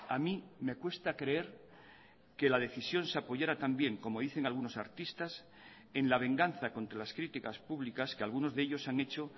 a mí me cuesta creer que la decisión se apoyara también como dicen algunos artistas en la venganza contra las críticas públicas que algunos de ellos han hecho